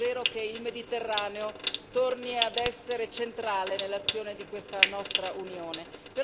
Mi auguro davvero che il Mediterraneo torni ad essere centrale nell'azione di questa nostra Unione.